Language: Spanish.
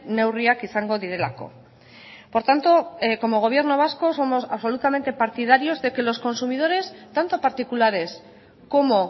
neurriak izango direlako por tanto como gobierno vasco somos absolutamente partidarios de que los consumidores tanto particulares como